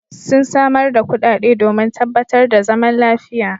Sun samar da kuɗaɗe domin tabbatar da zaman lafiya.